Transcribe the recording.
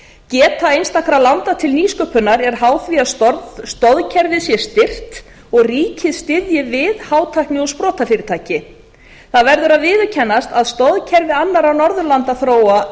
geta einstakra landa til nýsköpunar er háð því að stoðkerfið sé styrkt og ríkið styðji við hátækni og sprotafyrirtæki það verður að viðurkennast að stoðkerfi annarra norðurlandaþjóða